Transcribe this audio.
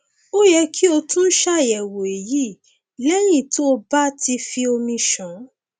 ó yẹ kí o tún ṣàyẹwò èyí lẹyìn tó o bá ti fi omi ṣàn